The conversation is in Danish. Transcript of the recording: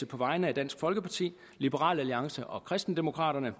på vegne af dansk folkeparti liberal alliance og kristendemokraterne